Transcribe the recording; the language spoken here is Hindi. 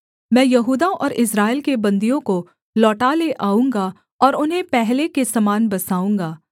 मैं यहूदा और इस्राएल के बन्दियों को लौटा ले आऊँगा और उन्हें पहले के समान बसाऊँगा